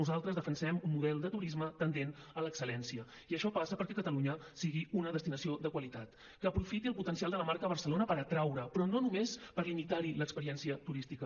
nosaltres defensem un model de turisme tendent a l’excel·lència i això passa perquè catalunya sigui una destinació de qualitat que aprofiti el potencial de la marca barcelona per atraure però no només per limitar hi l’experiència turística